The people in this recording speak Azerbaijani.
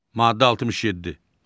Maddə 67.